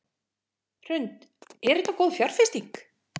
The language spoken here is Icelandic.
Hrund: Er þetta góð fjárfesting?